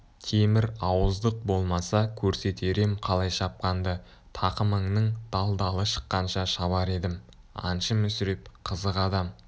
темір ауыздық болмаса көрсетер ем қалай шапқанды тақымыңның дал-далы шыққанша шабар едім аңшы мүсіреп қызық адам